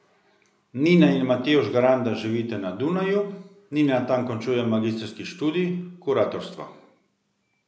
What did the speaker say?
Nina in Matevž Granda živita na Dunaju, Nina tam končuje magistrski študij kuratorstva.